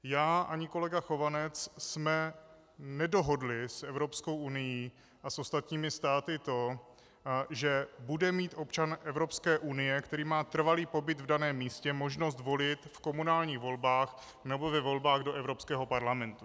Já ani kolega Chovanec jsme nedohodli s Evropskou unií a s ostatními státy to, že bude mít občan Evropské unie, který má trvalý pobyt v daném místě, možnost volit v komunálních volbách nebo ve volbách do Evropského parlamentu.